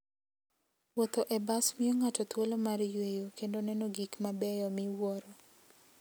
Wuotho e bas miyo ng'ato thuolo mar yueyo kendo neno gik mabeyo miwuoro.